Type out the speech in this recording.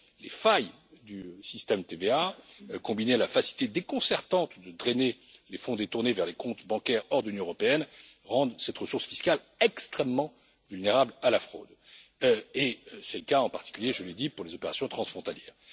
Les failles du système TVA combinées à la facilité déconcertante de drainer les fonds détournés vers des comptes bancaires hors de l'Union européenne rendent cette ressource fiscale extrêmement vulnérable à la fraude, et c'est le cas en particulier, je l'ai dit, pour les opérations transfrontalières.